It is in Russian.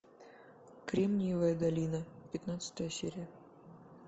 кремниевая долина пятнадцатая серия